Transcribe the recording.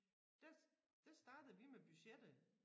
Der der startede vi med budgettet